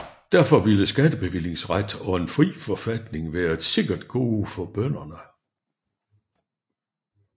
Derfor ville skattebevillingsret og en fri forfatning være et sikkert gode for bønderne